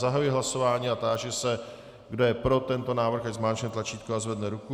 Zahajuji hlasování a táži se, kdo je pro tento návrh, ať zmáčkne tlačítko a zvedne ruku.